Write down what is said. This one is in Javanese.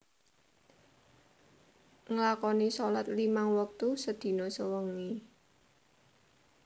Nglakoni sholat limang wektu sedina sewengi